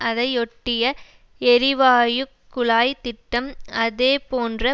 அதையொட்டிய எரிவாயு குழாய் திட்டம் அதேபோன்ற